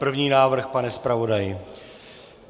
První návrh, pane zpravodaji.